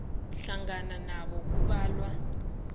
hlangana nabo kubalwa